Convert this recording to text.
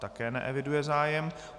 Také neeviduji zájem.